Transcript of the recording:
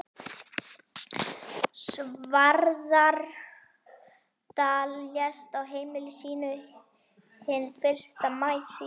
Svarfaðardal, lést á heimili sínu hinn fyrsta maí síðastliðinn.